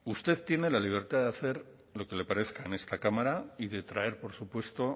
usted tiene la libertad de hacer lo que le parezca en esta cámara y de traer por supuesto